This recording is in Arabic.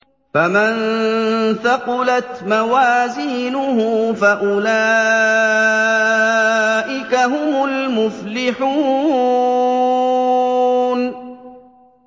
فَمَن ثَقُلَتْ مَوَازِينُهُ فَأُولَٰئِكَ هُمُ الْمُفْلِحُونَ